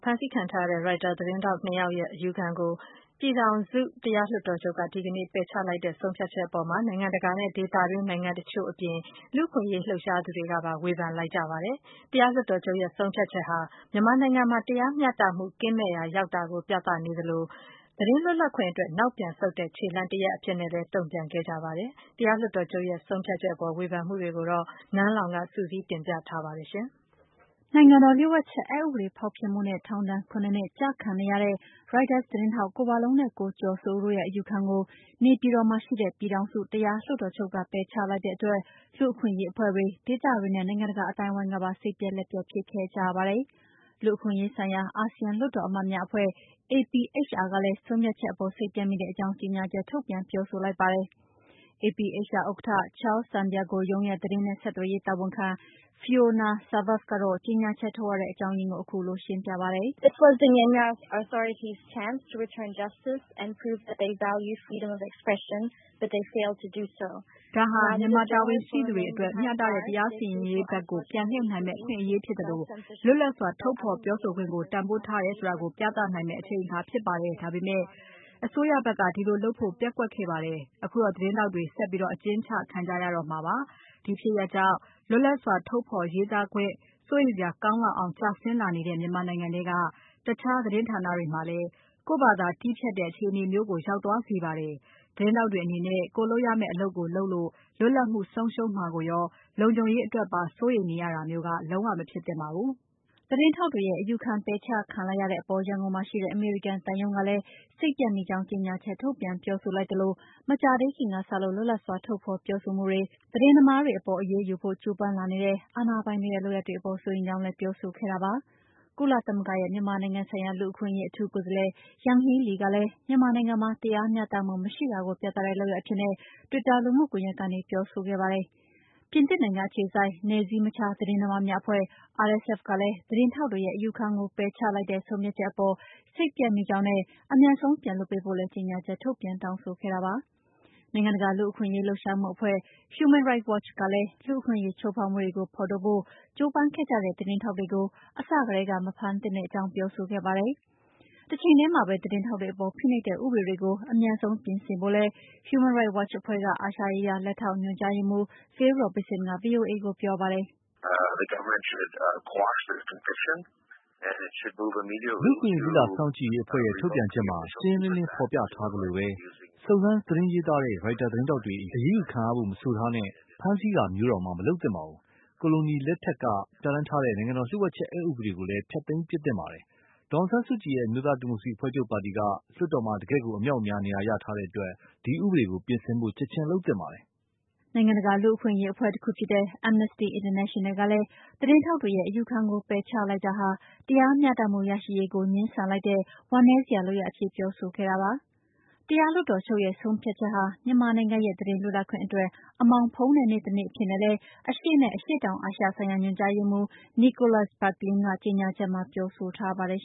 ဖမ်းဆီးခံထားရတဲ့ Reuters သတင်းထောက် ၂ ယောက်ရဲ့ အယူခံကို ပြည်ထောင်စု တရားလွှတ်တော်ချုပ်က ဒီကနေ့ ပယ်ချလိုက်တဲ့ ဆုံးဖြတ်ချက်အပေါ် နိုင်ငံတကာနဲ့ ဒေသတွင်းနိုင်ငံ တချို့အပြင် လူ့အခွင့်အရေး လှုပ်ရှားသူတွေကပါ ဝေဖန်လိုက်ကြပါတယ်။ တရားလွှတ်တော်ချုပ်ရဲ့ ဆုံးဖြတ်ချက်ဟာ မြန်မာနိုင်ငံမှာ တရားမျှတမှု ကင်းမဲ့ရာရောက်တာကို ပြသနေသလို၊ သတင်းလွတ်လပ်ခွင့်အတွက် နောက်ပြန်ဆုတ်တဲ့ ခြေလှမ်းတခု အဖြစ်နဲ့လည်း တုံ့ပြန်ခဲ့ကြတာပါ။ တရားလွှတ်တော်ချုပ်ရဲ့ ဆုံးဖြတ်ချက်အပေါ် ဝေဖန်မှုတွေကိုတော့ နန်းလောင်ဝ်က စုစည်းတင်ပြထားပါတယ်။ နိုင်ငံတော် လျှို့ဝှက်ချက်အက်ဥပဒေ ဖောက်ဖျက်မှုနဲ့ ထောင်ဒဏ် ၇နှစ် ကျခံနေရတဲ့ Reuters သတင်းထောက် ကိုဝလုံးနဲ့ ကိုကျော်စိုးဦးတို့ရဲ့ အယူခံကို နေပြည်တော်မှာရှိတဲ့ ပြည်ထောင်စု တရားလွှတ်တော်ချုပ်က ပယ်ချလိုက်တဲ့အတွက်၊ လူ့အခွင့်အရေး အဖွဲ့တွေ၊ ဒေသတွင်းနဲ့ နိုင်ငံတကာ အသိုင်းအဝန်းကပါ စိတ်ပျက်လက်ပျက် ဖြစ်ခဲ့ကြတာပါ။ လူ့အခွင့်အရေးဆိုင်ရာ အာဆီယံလွှတ်တော်အမတ်များအဖွဲ့ APHR ကလည်း ဆုံးဖြတ်ချက်အပေါ် စိတ်ပျက်မိတဲ့အကြောင်း ကြေညာချက် ထုတ်ပြန်ပြောဆိုလိုက်ပါတယ်။ APHR ဥက္ကဋ္ဌ Charles Santiago ရုံးရဲ့ သတင်းနဲ့ ဆက်သွယ်ရေးတာဝန်ခံ Fiona Serves ကတော့ ကြေညာချက် ထုတ်ရတဲ့ အကြောင်းရင်းကို အခုလို ရှင်းပြပါတယ်။ " ဒါဟာမြန်မာ တာဝန်ရှိသူတွေအနေနဲ့ မျှတတဲ့ တရားစီရင်ရေးဘက်ကို ပြန်လှည့်နိုင်မယ့် အခွင့်အရေး ဖြစ်သလို လွတ်လပ်စွာထုတ်ဖော်ခွင့်ကို တန်ဖိုးထားတာကို ပြသနိုင်မယ့် အချိန်အခါဖြစ်ပေမယ့် အစိုးရဘက်က ဒီလိုလုပ်ဖို့ ပျက်ကွက်ခဲ့ပါတယ်။ ခုတော့ သတင်းထောက်တွေ ဆက်ပြီး အကျဉ်းခံ ကြရတော့မှာပါ။ ဒီဖြစ်ရပ်ကြောင့် လွတ်လပ်စွာ ထုတ်ဖော်ရေးသားခွင့်နဲ့ ပတ်သက်ပြီး စိုးရိမ်စရာ ကောင်းလောက်အောင် ကျဆင်းလာနေတဲ့ မြန်မာနိုင်ငံထဲက အခြားသတင်းဌာနတွေမှာလည်း ကိုယ့်ဘာသာ တည်းဖြတ်တဲ့ အခြေအနေမျိုးရောက်သွားစေပါတယ်။ သတင်းထောက်တွေအနေနဲ့ ကိုယ်လုပ်ရမယ့် အလုပ်ကို လုပ်ရုံနဲ့ လွတ်လပ်မှုဆုံးရှုံးမှာကိုရော လုံခြုံရေးအတွက်ပါ စိုးရိမ်နေရတာမျိုး မဖြစ်သင့်ပါဘူး။" သတင်းထောက်တွေရဲ့ အယူခံပယ်ချခံလိုက်ရတဲ့အပေါ် ရန်ကုန်မှာရှိတဲ့ အမေရိကန် သံရုံးကလည်း စိတ်ပျက်မိကြောင်း ကြေညာချက်ထုတ်ပြန် ပြောဆိုလိုက်သလို၊ မကြာသေးခင်ကစလို့ လွတ်လပ်စွာထုတ်ဖော်ပြောဆိုမှုတွေ သတင်းသမားတွေအပေါ် အရေးယူဖို့ ကြိုးပမ်းလာနေတဲ့ အာဏာပိုင်တွေရဲ့ လုပ်ရပ်တွေအပေါ် စိုးရိမ်ကြောင်းလည်း ပြောဆိုခဲ့တာပါ။ ကုလသမဂ္ဂရဲ့ မြန်မာနိုင်ငံဆိုင်ရာ လူ့အခွင့်အရေး အထူးကိုယ်စားလှယ် Yanghee Lee ကလည်း မြန်မာနိုင်ငံမှာ တရားမျှတမှု မရှိတာကို ပြသတဲ့ လုပ်ရပ်အဖြစ်နဲ့ Twitter လူမှုကွန်ရက်ကနေ ပြောဆိုခဲ့ပါတယ်။ ပြင်သစ်နိုင်ငံ အခြေစိုက် နယ်စည်းမခြား သတင်းသမားများအဖွဲ့ (RSF) ကလည်း သတင်းထောက်တွေ ရဲ့အယူခံကို ပယ်ချလိုက်တဲ့ ဆုံးဖြတ်ချက်အပေါ် စိတ်ပျက်မိကြောင်းနဲ့ အမြန်ဆုံး ပြန်လွှတ်ပေးဖို့လည်း ကြေညာချက်ထုတ်ပြန် တောင်းဆိုခဲ့တာပါ။ နိုင်ငံတကာ လူ့အခွင့်အရေး လှုပ်ရှားမှုအဖွဲ့ Human Rights Watch ကလည်း လူ့အခွင့်အရေး ချိုးဖောက်မှုတွေကို ဖော်ထုတ်ဖို့ ကြိုးပမ်းခဲ့ကြတဲ့ သတင်းထောက်တွေကို အစကတည်းက မဖမ်းသင့်ကြောင်း ပြောဆိုခဲ့ပါတယ်။ တချိန်တည်းမှာပဲ သတင်းထောက်တွေအပေါ် ဖိနှိပ်တဲ့ ဥပဒေတွေကို အမြန်ဆုံးပြင်ဆင်ဖို့လည်း Human Rights Watch အဖွဲ့က အာရှရေးရာ လက်ထောက်ညွှန်ကြားရေးမှူး Phil Robertson က VOA ကိုပြောပါတယ်။ "လူ့အခွင့်အရေး လေ့လာစောင့်ကြည့်ရေးအဖွဲ့ရဲ့ထုတ်ပြန်ချက်မှာ ရှင်းရှင်းလင်းလင်း ဖော်ပြထားသလိုပဲ စုံစမ်းသတင်းရေးသား တဲ့ ရိုက်တာသတင်းထောက်တွေ အရေးယူခံရဖို့ မဆိုထားနဲ့ ဖမ်းဆီးတာမျိုးတောင် မလုပ်သင့်ပါဘူး။ ကိုလိုနီလက်ထက်က ပြဌာန်းထားတဲ့ နိုင်ငံတော်လျှို့ဝှက်ချက် ဥပဒေကိုလည်း ဖျက်သိမ်းပစ်သင့်ပါတယ်။ ဒေါ်အောင်ဆန်းစုကြည်ရဲ့ အမျိုးသား ဒီမိုကရေစီအဖွဲ့ချုပ် ပါတီက လွှတ်တော်မှာ တကယ့်ကို အမြောက်အများ နေရာရထားတဲ့အတွက် ဒီဥပဒေကို ပြင်ဆင်ဖို့ ချက်ချင်းလုပ်သင့်ပါတယ်။" နိုင်ငံတကာ လူ့အခွင့်အရေး အဖွဲ့တခုဖြစ်တဲ့ Amnesty International ကလည်း သတင်းထောက်တွေရဲ့ အယူခံကို ပယ်ချလိုက်တာဟာ တရားမျှတမှုရရှိရေးကို ငြင်းဆန်တဲ့ ဝမ်းနည်းစရာ လုပ်ရပ်အဖြစ် ပြောဆိုခဲ့တာပါ။ တရားလွှတ်တော်ချုပ်ရဲ့ ဆုံးဖြတ်ချက်ဟာ မြန်မာနိုင်ငံရဲ့ သတင်းလွတ်လပ်ခွင့်အတွက် အမှောင်ဖုံးတဲ့ နေ့တနေ့အဖြစ်နဲ့လည်း အရှေ့နဲ့ အရှေ့တောင်အာရှဆိုင်ရာ ညွှန်ကြားရေးမှူး Nicholas Bequelin ကကြေညာချက်မှာ ပြောဆိုထားပါတယ်